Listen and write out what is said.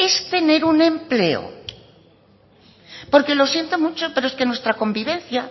es tener un empleo porque lo siento mucho pero es que nuestra convivencia